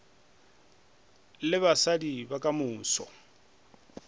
le basadi ba ka moso